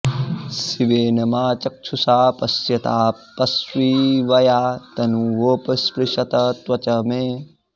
शि॒वेन॑ मा॒ चक्षु॑षा पश्यताऽऽपश्शि॒वया॑ त॒नुवोप॑ स्पृशत॒ त्वचं॑ मे